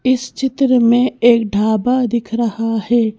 इस चित्र में एक ढाबा दिख रहा है।